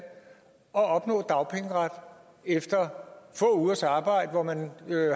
og opnå dagpengeret efter få ugers arbejde hvor man